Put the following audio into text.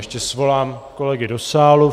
Ještě svolám kolegy do sálu.